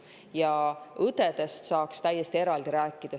Ja õdedest saaks täiesti eraldi rääkida.